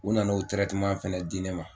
U nana o fana di ne ma.